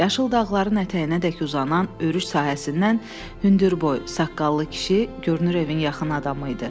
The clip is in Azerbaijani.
Yaşıl dağların ətəyinədək uzanan örüş sahəsindən hündürboy, saqqallı kişi görünür evin yaxın adamı idi.